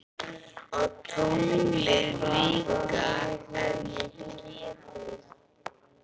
Og tunglið líka ef ég geti.